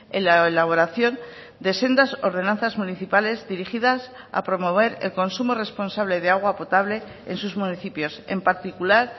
en la elaboración de sendas ordenanzas municipales dirigidas a promover el consumo responsable de agua potable en sus municipios en particular